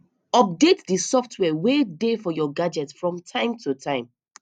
update di software wey dey for your gadget from time to time